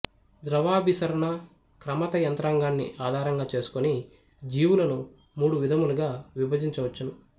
ద్రవాభిసరణ క్రమత యంత్రాంగాన్ని ఆధారంగా చేసుకొని జీవులను మూడు విధములుగా విభజించవచ్చును